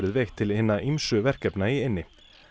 veitt til hinna ýmsu verkefna í eynni